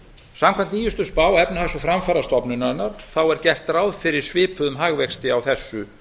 samkvæmt nýjustu spá efnahags og framfarastofnunarinnar er gert ráð fyrir svipuðum hagvexti á þessu